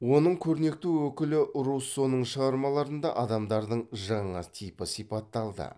оның көрнекті өкілі руссоның шығармаларында адамдардың жаңа типі сипатталды